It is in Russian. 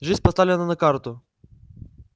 жизнь поставлена на карту